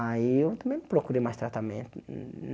Aí eu também não procurei mais tratamento. humm